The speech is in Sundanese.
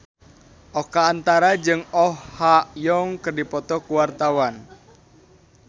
Oka Antara jeung Oh Ha Young keur dipoto ku wartawan